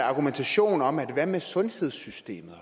argumentation omkring sundhedssystemet at